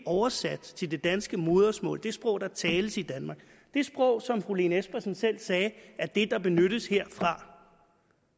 oversat til det danske modersmål det sprog der tales i danmark det sprog som fru lene espersen selv sagde er det der benyttes herfra